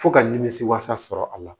Fo ka nimisiwasa sɔrɔ a la